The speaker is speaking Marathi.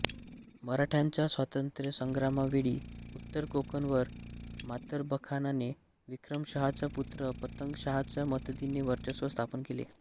मराठ्यांच्या स्वातंत्र्यसंग्रामावेळी उत्तर कोकणवर मातरबखानाने विक्रमशहाचा पुत्र पतंगशहाच्या मदतीने वर्चस्व स्थापन केले